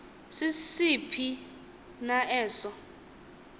sisiphi na eso